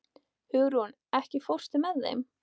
Hugrún, ekki fórstu með þeim?